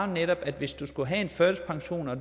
netop at hvis du skulle have en førtidspension og